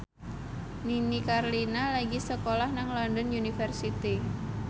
Nini Carlina lagi sekolah nang London University